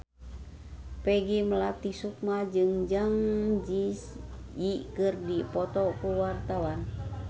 Peggy Melati Sukma jeung Zang Zi Yi keur dipoto ku wartawan